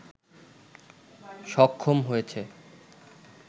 সক্ষম হয়েছে